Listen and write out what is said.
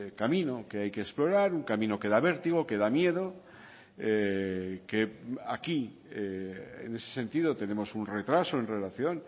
camino que hay que explorar un camino que da vértigo que da miedo que aquí en ese sentido tenemos un retraso en relación